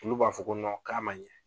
Olu b'a fɔ ko k'a ma ɲɛ.